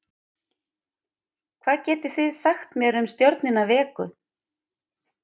hvað getið þið sagt mér um stjörnuna vegu